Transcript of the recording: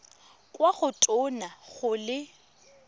kwa go tona go le